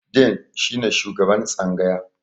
"Dean" shi ne shugaban tsangaya.